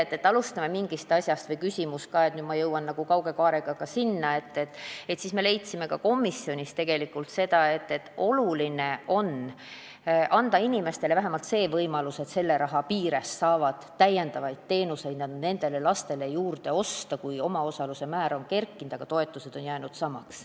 Kui võtta teie näide või küsimus, siis ma jõuan kauge kaarega sinna: me leidsime komisjonis veel seda, et oluline on anda inimestele vähemalt võimalus osta selle raha piires nendele lastele lisateenuseid, sest omaosaluse määr on kerkinud, aga toetused on jäänud samaks.